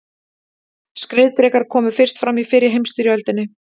Skriðdrekar komu fyrst fram í fyrri heimsstyrjöldinni.